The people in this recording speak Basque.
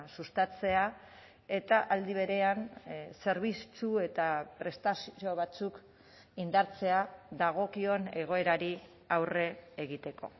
sustatzea eta aldi berean zerbitzu eta prestazio batzuk indartzea dagokion egoerari aurre egiteko